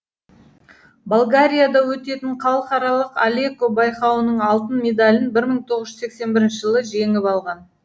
болгарияда өтетін халықаралық алеко байқауының алтын медалін мың тоғыз жүз сексен бірінші жылы жеңіп алған